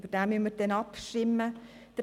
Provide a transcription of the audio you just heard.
Über diesen werden wir abstimmen müssen.